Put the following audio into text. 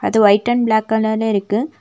இது white and black கலர்ல இருக்கு.